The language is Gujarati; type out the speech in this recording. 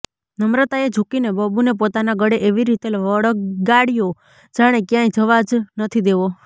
નમ્રતાએ ઝૂકીને બબુને પોતાના ગળે એવી રીતે વળગાડ્યો જાણે ક્યાંય જવા જ નથી દેવો